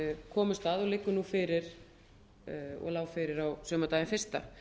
komust að og liggur nú fyrir á sumardaginn fyrsta